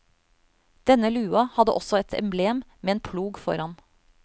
Denne lua hadde også et emblem med en plog foran.